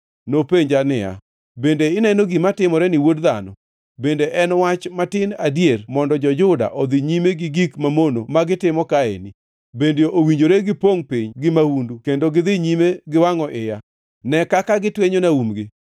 Nopenja niya, “Bende ineno gima timoreni, wuod dhano? Bende en wach matin adier mondo jo-Juda odhi nyime gi gik mamono ma gitimo kaeni? Bende owinjore gipongʼ piny gi mahundu kendo gidhi nyime giwangʼo iya? Ne kaka gitwenyona umgi!